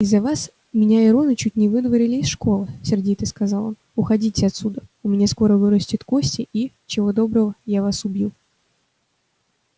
из-за вас меня и рона чуть не выдворили из школы сердито сказал он уходите отсюда у меня скоро вырастет кости и чего доброго я вас убью